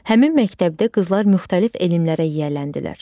Həmin məktəbdə qızlar müxtəlif elmlərə yiyələndilər.